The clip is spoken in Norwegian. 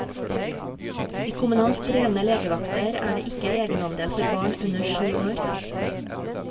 I kommunalt drevne legevakter er det ikke egenandel for barn under syv år.